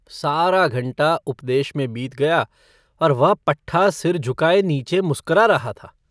सारा घंटा उपदेश में बीत गया और वह पट्ठा सिर झुकाए नीचे मुस्करा रहा था।